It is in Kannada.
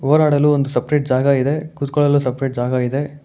ಹೋರಾಡಲು ಒಂದು ಸಪರೇಟ್ ಜಾಗ ಇದೆ ಕುತ್ಕೊಳ್ಳಲು ಸಪರೇಟ್ ಜಾಗ ಇದೆ.